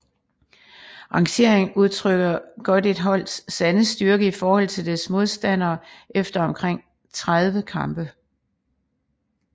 Rangeringen udtrykker godt et holds sande styrke i forhold til dets modstandere efter omkring 30 kampe